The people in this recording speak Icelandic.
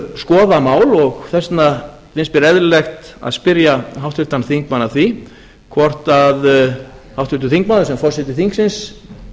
skoða mál og þess vegna finnst mér eðlilegt að spyrja háttvirtan þingmann að því hvort háttvirtur þingmaður sem forseti þingsins